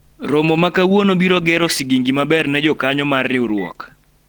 romo ma kawuono biro gero sigingi maber ne jokanyo mar riwruok